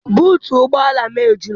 Buutu ụgbọala m ejula.